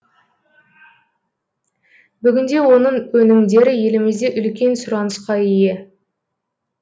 бүгінде оның өнімдері елімізде үлкен сұранысқа ие